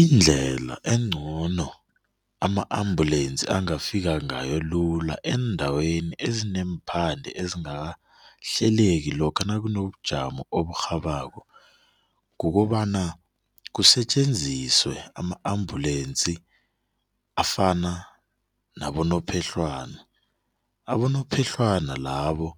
Indlela encono ama-ambulensi angafika ngayo lula eendaweni ezineemphande ezingakahleleki lokha nakunobujamo oburhabako, kukobana kusetjenziswe ama-ambulensi afana nabonophehlwana, abonophehlwana labo